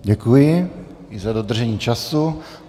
Děkuji i za dodržení času.